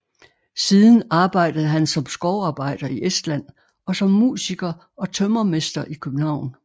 Siden arbejdede han som skovarbejder i Estland og som musiker og tømrermester i København